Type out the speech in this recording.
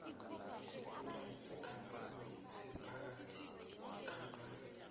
isikhulu sekampani siphatha ikampani